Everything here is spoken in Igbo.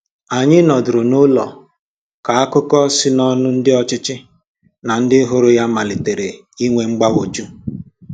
Anyị nọdụrụ n’ụlọ ka akụkọ si n’ọnụ ndị ọchịchị na ndị hụrụ ya malitere inwe mgbagwoju.